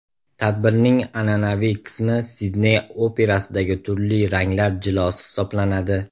Tadbirning an’anaviy qismi Sidney operasidagi turli ranglar jilosi hisoblanadi.